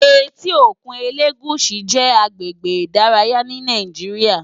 Éti ókún Elegushi jè àgbégbé idàráyá ni Nàijiriá